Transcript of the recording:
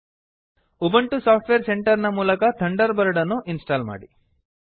Ubuntu software center ನ ಮೂಲಕ Thunderbird ಅನ್ನು ಇನ್ಸ್ಟಾಲ್ ಮಾಡಿ